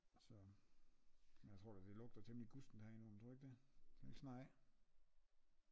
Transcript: Så men jeg tror da det lugter temmeligt gustent herinde under tror du ikke det skal det ikke snart af